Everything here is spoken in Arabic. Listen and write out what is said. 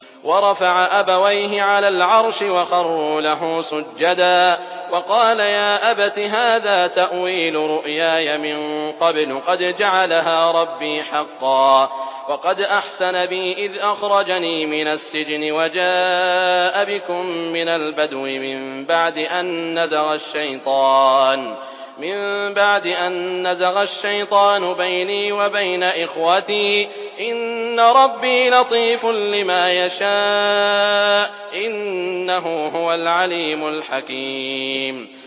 وَرَفَعَ أَبَوَيْهِ عَلَى الْعَرْشِ وَخَرُّوا لَهُ سُجَّدًا ۖ وَقَالَ يَا أَبَتِ هَٰذَا تَأْوِيلُ رُؤْيَايَ مِن قَبْلُ قَدْ جَعَلَهَا رَبِّي حَقًّا ۖ وَقَدْ أَحْسَنَ بِي إِذْ أَخْرَجَنِي مِنَ السِّجْنِ وَجَاءَ بِكُم مِّنَ الْبَدْوِ مِن بَعْدِ أَن نَّزَغَ الشَّيْطَانُ بَيْنِي وَبَيْنَ إِخْوَتِي ۚ إِنَّ رَبِّي لَطِيفٌ لِّمَا يَشَاءُ ۚ إِنَّهُ هُوَ الْعَلِيمُ الْحَكِيمُ